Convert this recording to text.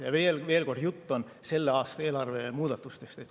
Ja veel kord, jutt on selle aasta eelarve muudatustest.